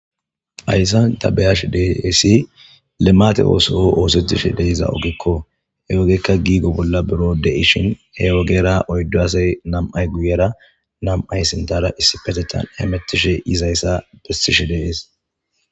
Hayssan ta beyashe deeeesi lemate ooso oosetishe deiza ogekko he ogeykka giigo bolla buro de7ishin he ogera oyddu asay nam7ay guyera nam7ay sinthera issi petethan hemettishe dizayssa bettishe de7ees